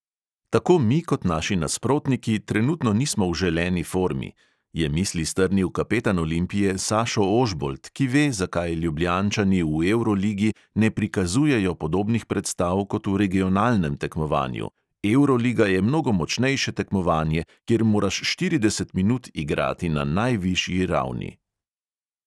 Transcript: "Tako mi kot naši nasprotniki trenutno nismo v želeni formi," je misli strnil kapetan olimpije sašo ožbolt, ki ve, zakaj ljubljančani v evroligi ne prikazujejo podobnih predstav kot v regionalnem tekmovanju: "evroliga je mnogo močnejše tekmovanje, kjer moraš štirideset minut igrati na najvišji ravni."